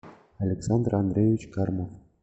александр андреевич кармов